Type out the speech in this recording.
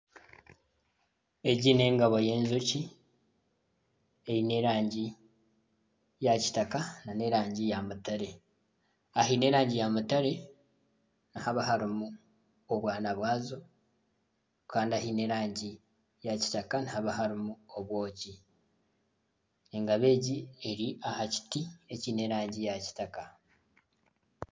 Egi n'engabo y'enjoki eine erangi ya kitaka nana erangi ya mutare aheine erangi ya mutare nihaba harimu obwana bw'azo Kandi ahaine erangi ya kitaka nihaba harimu obwoki engabo egi eri aha kiti ekiine erangi ya kitaka.